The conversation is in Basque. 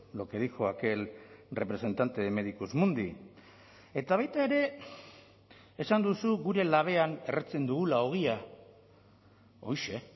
lo que dijo aquel representante de medicus mundi eta baita ere esan duzu gure labean erretzen dugula ogia horixe